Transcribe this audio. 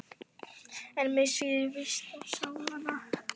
En mig svíður víst í sálina.